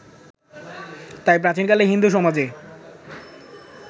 তাই প্রাচীনকালে হিন্দু সমাজে